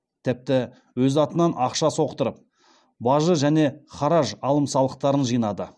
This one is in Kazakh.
тіпті өз атынан ақша соқтырып бажы және хараж алым салықтарын жинады